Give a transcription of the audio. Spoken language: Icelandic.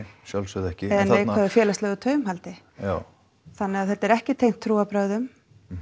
sjálfsögðu ekki eða neikvæðu félagslegu taumhaldi já þannig að þetta er ekki tengt trúarbrögðum